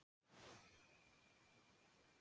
Þeir höfðu að engu haft bann